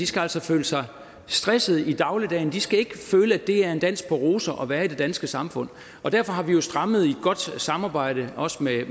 skal altså føle sig stresset i dagligdagen de skal ikke føle at det er en dans på roser at være i det danske samfund derfor er vi jo strammet det i et godt samarbejde også med